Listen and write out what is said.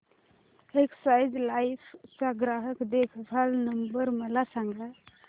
Exide Life चा ग्राहक देखभाल नंबर मला सांगा